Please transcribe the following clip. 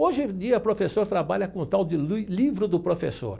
Hoje em dia, o professor trabalha com o tal de livro do professor.